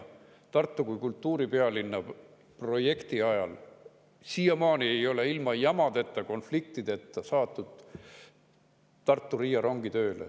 Tartu kui kultuuripealinna projekti ajal ei ole siiamaani ilma jamadeta, konfliktideta saadud tööle Tartu–Riia rongi.